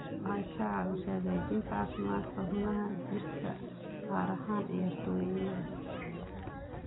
Waxay ka caawisaa hagaajinta caafimaadka xubnaha jirka, gaar ahaan ciyaartoyda.